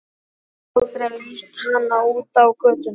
Ég get aldrei leitt hana út á götuna.